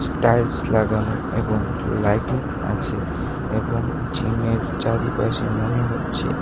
tiles লাগানো এবং lighting আছে এবং জিমের চারিপাশে মনে হচ্ছে--